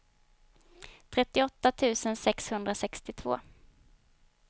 trettioåtta tusen sexhundrasextiotvå